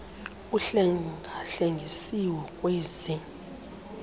uhlenga hlengisiwe ngkwezi